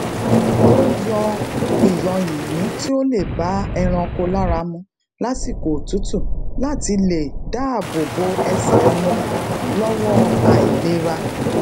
ó yan iyoyinyin ti o ba eranko laramu lasiko otutu láti lè dáàbò bo ẹsè won lówó ailera